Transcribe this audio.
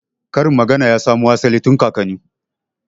Karin magana ya samo asali tun kakanni